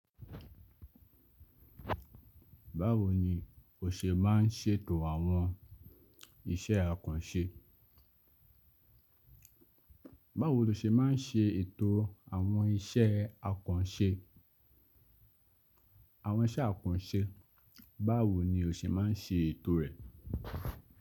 Báwo ni o ṣe má ń ṣe'tò àwọn iṣẹ́ akànṣe? Báwo lo ṣe má n ṣe ètò àwọn iṣẹ́ akànṣe? Àwọn iṣẹ́ akànṣe, báwo ni o ṣe má n ṣe ètò rẹ̀?